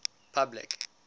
public